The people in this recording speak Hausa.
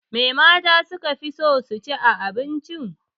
Me mata su ka fi son ci a abinci?